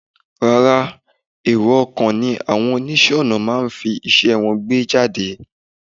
rárá, èrò-ọkàn ni àwọn oníṣẹ́-ọnà máa ń fi iṣẹ́ wọn gbé jáde.